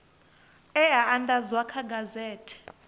e a andadzwa kha gazethe